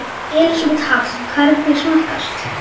Elísabet Hall: Hvernig smakkaðist?